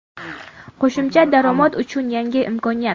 Qo‘shimcha daromad uchun yangi imkoniyat.